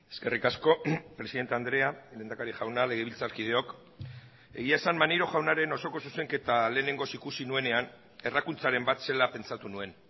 eskerrik asko presidente andrea lehendakari jauna legebiltzarkideok egia esan maneiro jaunaren osoko zuzenketa lehenengoz ikusi nuenean errakuntzaren bat zela pentsatu nuen